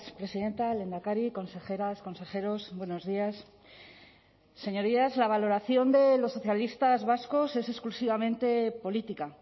presidenta lehendakari consejeras consejeros buenos días señorías la valoración de los socialistas vascos es exclusivamente política